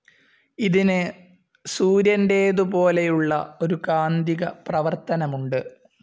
ഇതിന് സൂര്യന്റേതുപോലെയുള്ള ഒരു കാന്തിക പ്രവർത്തനമുണ്ട്.